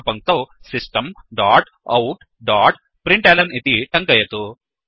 अग्रिम पङ्क्तौ system dot out dot println इति टङ्कयतु